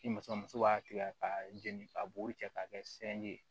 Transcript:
Ni muso muso b'a tigɛ ka jeni ka bo cɛ k'a kɛ sɛndi ye